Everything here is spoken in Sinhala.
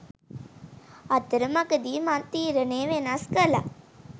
අතර මඟදි මං තීරණේ වෙනස් කළා